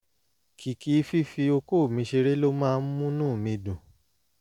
kìkì fífi okó mi ṣeré ló máa ń múnú mi dùn